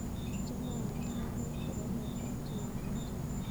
Achame ayokto baruet kwo baruet ab chi netochon